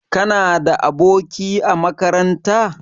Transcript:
Kana da aboki a makaranta?